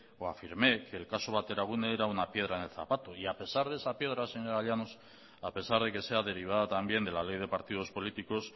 o afirmé que el caso bateragune era una piedra en el zapato y a pesar de esa piedra señora llanos a pesar de que sea derivada también de la ley de partidos políticos